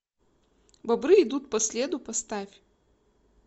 бобры идут по следу поставь